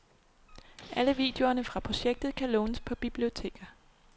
Alle videoerne fra projektet kan lånes på biblioteker.